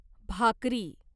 भाकरी